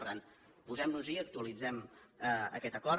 per tant posem nos hi i actualitzem aquest acord